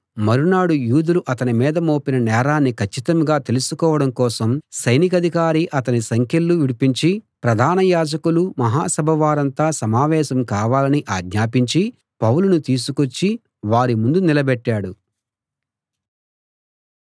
మరునాడు యూదులు అతని మీద మోపిన నేరాన్ని కచ్చితంగా తెలుసుకోవడం కోసం సైనికాధికారి అతని సంకెళ్ళు విడిపించి ప్రధాన యాజకులూ మహా సభవారంతా సమావేశం కావాలని ఆజ్ఞాపించి పౌలును తీసుకొచ్చి వారి ముందు నిలబెట్టాడు